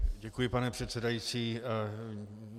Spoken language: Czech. Děkuji, pane předsedající.